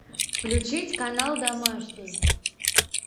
включить канал домашний